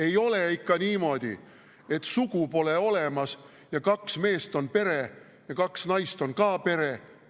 Ei ole ikka niimoodi, et sugu pole olemas ja kaks meest on pere ja kaks naist on ka pere.